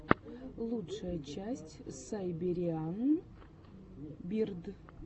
лучшая часть сайбериан бирд